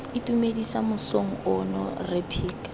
itumedisa mosong ono rre phika